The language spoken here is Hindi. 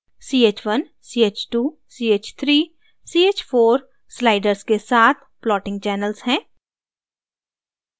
ch1 ch2 ch3 ch4 sliders के साथ plotting channels हैं